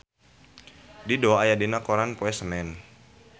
Dido aya dina koran poe Senen